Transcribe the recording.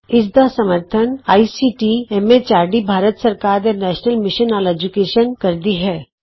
ਇਸ ਦਾ ਸਮਰੱਥਨ ਆਈਸੀਟੀ ਐਮ ਐਚਆਰਡੀ ਭਾਰਤ ਸਰਕਾਰ ਦੇ ਨੈਸ਼ਨਲ ਮਿਸ਼ਨ ਅੋਨ ਏਜੂਕੈਸ਼ਨ ਕਰਦੀ ਹੈ